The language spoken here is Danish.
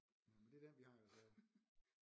Nåh men det er den vi har i reserve